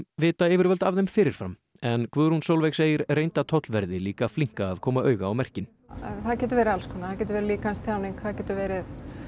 vita yfirvöld af þeim fyrir fram en Guðrún Sólveig segir reynda tollverði líka flinka að koma auga á merkin það getur verið alls konar það getur líkamstjáning það getur verið